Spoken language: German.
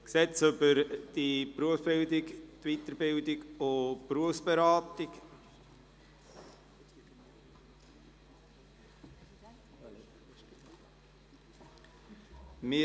«Gesetz über die Berufsberatung, die Weiterbildung und die Berufsberatung (BerG)».